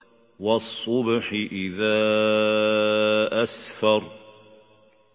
وَالصُّبْحِ إِذَا أَسْفَرَ